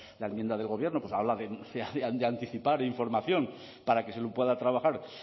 la enmienda del gobierno habla de anticipar información para que se pueda trabajar